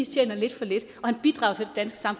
tjener lidt for lidt